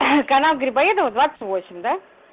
канал грибоедова двадцать восемь да